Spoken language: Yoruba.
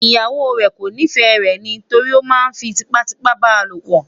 ìyàwó rè kò nifẹ rè ní torí oma fí tipa tipa balopo